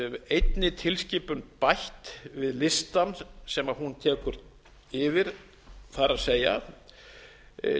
einni tilskipun bætt við listann sem hún tekur yfir það er tilskipun tvö þúsund og